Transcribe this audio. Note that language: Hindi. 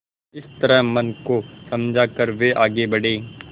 इस तरह मन को समझा कर वे आगे बढ़े